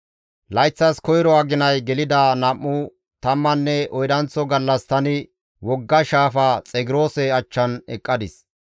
Layththas koyro aginay gelida nam7u tammanne oydanththo gallas tani wogga shaafa Xegroose achchan eqqadis.